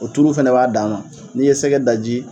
O tulu fana b'a dan ma n'i ye sɛgɛ daji